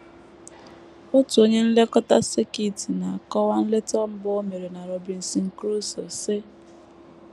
Otu onye nlekọta sekit na - akọwa nleta mbụ o mere na Robinson Crusoe, sị: